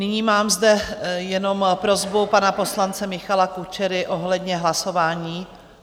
Nyní mám zde jen prosbu pana poslance Michala Kučery ohledně hlasování.